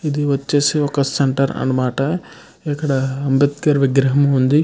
ఇది వచ్చేసి ఒక సెంటర్ అన్నమాట. ఇక్కడ అంబేద్కర్ విగ్రహం ఉంది.